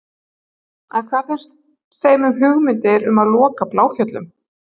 En hvað finnst þeim um hugmyndir um að loka Bláfjöllum?